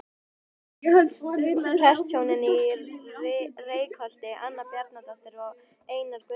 Prestshjónin í Reykholti- Anna Bjarnadóttir og Einar Guðnason.